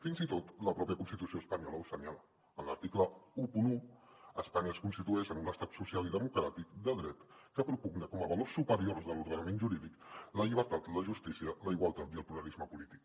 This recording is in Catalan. fins i tot la pròpia constitució espanyola ho assenyala en l’article onze espanya es constitueix en un estat social i democràtic de dret que propugna com a valors superiors de l’ordenament jurídic la llibertat la justícia la igualtat i el pluralisme polític